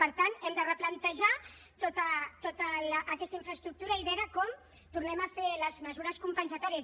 per tant hem de replantejar tota aquesta infraestructura i veure com tornem a fer les mesures compensatòries